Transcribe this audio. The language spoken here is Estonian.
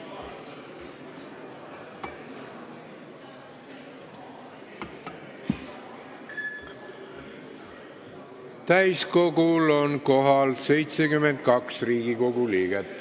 Kohaloleku kontroll Täiskogul on kohal 72 Riigikogu liiget.